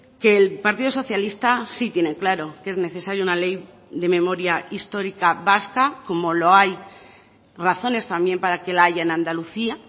que el partido socialista sí tiene claro que es necesario una ley de memoria histórica vasca como lo hay razones también para que la haya en andalucía